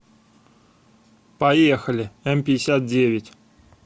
поехали эмпятьдесятдевять